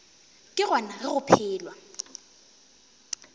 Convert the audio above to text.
ke gona ge go phelwa